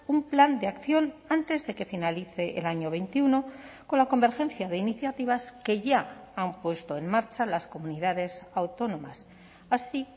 un plan de acción antes de que finalice el año veintiuno con la convergencia de iniciativas que ya han puesto en marcha las comunidades autónomas así